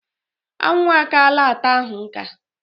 Anwụ akaala ata ahụ nka.